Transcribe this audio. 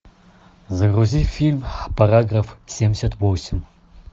загрузи фильм параграф семьдесят восемь